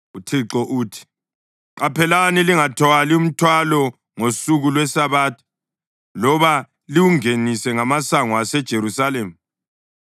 UThixo uthi: Qaphelani lingathwali mthwalo ngosuku lweSabatha loba liwungenise ngamasango aseJerusalema.